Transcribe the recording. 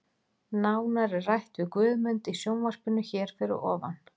Nánar er rætt við Guðmund í sjónvarpinu hér fyrir ofan.